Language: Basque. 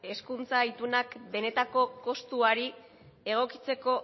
hezkuntza itunak benetako kostuari egokitzeko